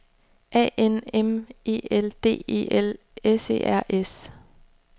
A N M E L D E L S E R S